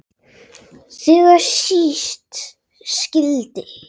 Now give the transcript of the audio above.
Þegar síst skyldi.